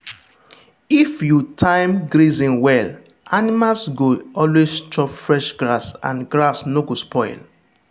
if you time grazing well animals go always chop fresh grass and grass no go spoil.